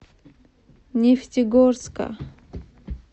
нефтегорска